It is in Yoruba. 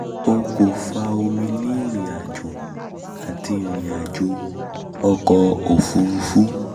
o ko fa omi um ni irin-ajo ati irin-ajo ọkọ ofurufu